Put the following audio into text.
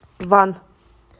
ван